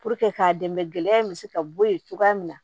k'a dɛmɛ gɛlɛya in bɛ se ka bɔ yen cogoya min na